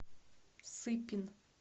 сыпин